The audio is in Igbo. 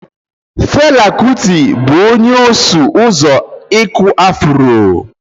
Fela Kuti bụ onye ọsụ ụzọ ịkụ afro.